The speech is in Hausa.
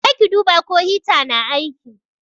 Je ki duba ko hita na aiki.